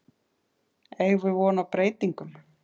Eigum við von á breytingum?